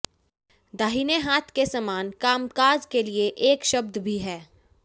दाहिने हाथ के समान कामकाज के लिए एक शब्द भी है